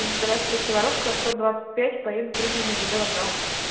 здравствуйте воровского сто двадцать пять поеду пригородный жд вокзал